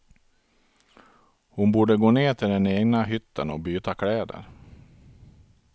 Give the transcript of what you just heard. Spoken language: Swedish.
Hon borde gå ner till den egna hytten och byta kläder.